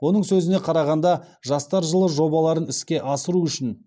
оның сөзіне қарағанда жастар жылы жобаларын іске асыру үшін